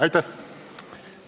Aitäh!